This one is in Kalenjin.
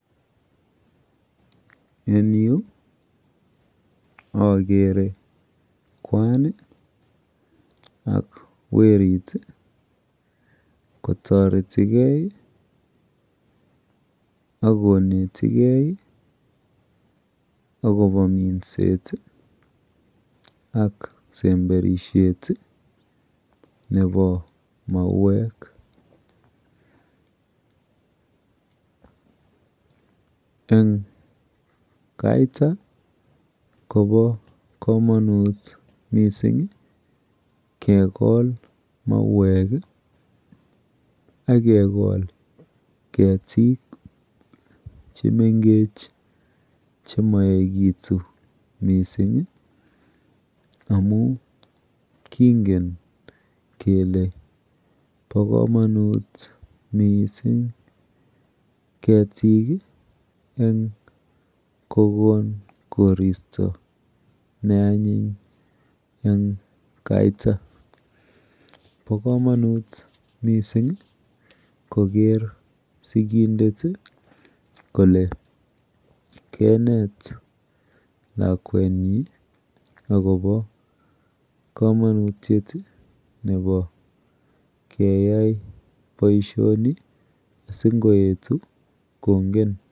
En Yu agere Kwan ak werit kotareti gei akonete gei akoba minset ak semberishet Nebo mawek en Kavita Koba kamanut mising kegol mauwek agekol ketik chemengechen chemaigetun mising amun kingen kele ba kamanut mising ketik en kokon koristo neanyin en Kavita ako ba kamanut mising Koger sikindet Kole kenet lakwenyun akoba kamanutiet Nebo keyai baishoni sikoyetu kongen